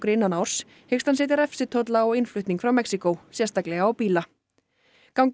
innan árs hyggst hann setja á innflutning frá Mexíkó sérstaklega á bíla gangi